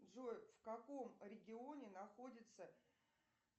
джой в каком регионе находится